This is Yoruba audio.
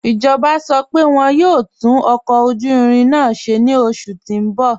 Ijọba sọ pé wọn yọ̀ò tún ọkọ ojú irin náà ṣẹ̀ ni oṣù tí n bọ̀.